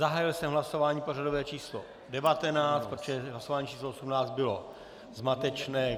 Zahájil jsem hlasování pořadové číslo 19, protože hlasování číslo 18 bylo zmatečné.